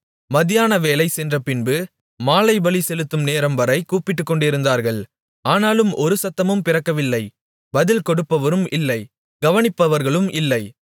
மத்தியானவேளை சென்றபின்பு மாலைபலி செலுத்தும் நேரம்வரை கூப்பிட்டுக்கொண்டிருந்தார்கள் ஆனாலும் ஒரு சத்தமும் பிறக்கவில்லை பதில் கொடுப்பவரும் இல்லை கவனிப்பவர்களும் இல்லை